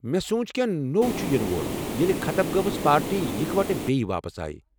مےٚ سوُنچ کٮ۪نٛہہ نوٚو چھٗ یِنہٕ وول ییلہِ ختم گٲمٕژ پارٹی اِکوٹہٕ بییہ واپس آیہ ۔۔